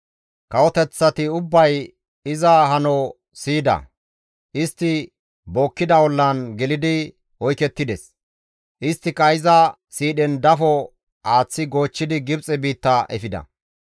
Kawoteththati ubbay iza hano siyida; istti bookkida ollan gelidi oykettides; isttika iza siidhen dafo aaththi goochchidi Gibxe biitta efida.